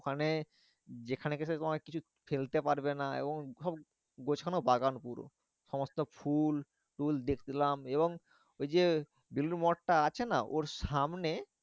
ওখানে যেখানে তোমায় কিছু ফেলতে পারবে না এবং গোছানো বাগান পুরো। সমস্ত ফুল ফুল দেখলাম এবং ওই যে বেলুড় মঠ টা আছে না? ওর সামনে